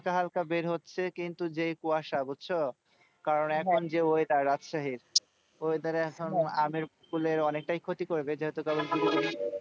হালকা হালকা বের হচ্ছে কিন্তু যেই কুয়াশা বুঝছ কারণ এখন যে weather রাজশাহীর weather এখন আমের মুকুলের অনেকটাই ক্ষতি করবে যেহেতু তখন,